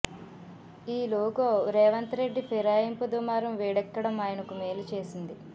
ఈ లోగో రేవంత్ రెడ్డి ఫిరాయింపు దుమారం వేడెక్కడం ఆయనకు మేలు చేసింది